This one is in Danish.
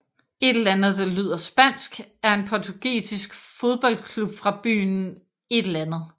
União Desportiva de Leiria er en portugisisk fodboldklub fra byen Leiria